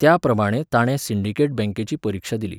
त्या प्रमाणे ताणें सिंडिकेट बँकेची परिक्षा दिली.